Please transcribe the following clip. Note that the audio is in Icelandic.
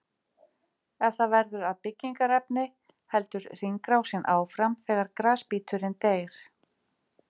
Ef það verður að byggingarefni heldur hringrásin áfram þegar grasbíturinn deyr.